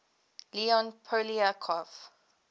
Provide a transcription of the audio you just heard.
leon poliakov